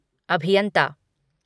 अभियन्ता